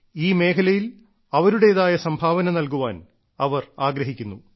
ഈ മേഖലയിൽ അവരുടേതായ സംഭാവന നൽകാൻ അവർ ആഗ്രഹിക്കുന്നു